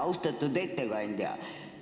Austatud ettekandja!